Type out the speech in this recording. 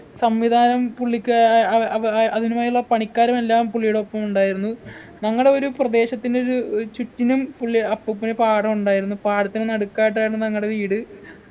സംവിധാനം പുള്ളിക്ക് ആഹ് അഹ് അഹ് അഹ് അതിനുമായുള്ള പണിക്കാരും എല്ലാം പുള്ളിയുടെ ഒപ്പമുണ്ടായിരുന്നു ഞങ്ങടെ ഒരു പ്രദേശത്തിന് ഒരു ഏർ ചുറ്റിനും പുള്ളി അപ്പൂപ്പന് പാഠം ഉണ്ടായിരുന്നു പാടത്തിനു നടുക്കയിട്ടായിരുന്നു ഞങ്ങടെ വീട്